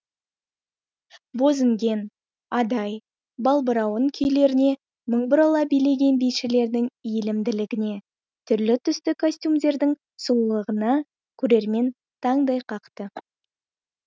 бозінген адай балбырауын күйлеріне мың бұрала билеген бишілердің иілімділігіне түрлі түсті костюмдердің сұлулығына көрермен таңдай қақты